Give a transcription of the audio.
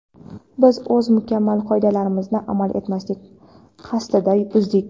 biz o‘z mukammal qoidalarimizni amal etmaslik qasdida buzdik.